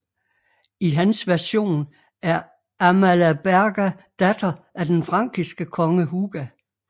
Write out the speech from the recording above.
I hans version er Amalaberga datter af den frankiske konge Huga